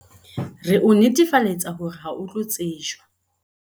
Re o netefaletsa hore ha o tlo tsejwa